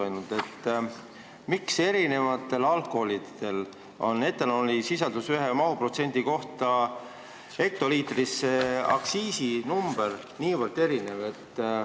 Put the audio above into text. Kui me vaatame etanoolisisaldust ühe mahuprotsendi kohta hektoliitris, siis miks alkoholi eri liikidel on aktsiisinumber niivõrd erinev?